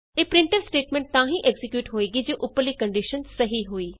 ਇਹ printf statement ਤਾਂ ਹੀ ਐਕਜ਼ੀਕਿਯੂਟ ਹੋਏਗੀ ਜੇ ਉਪਰਲੀ ਕੰਡੀਸ਼ਨ ਸਹੀ ਹੋਈ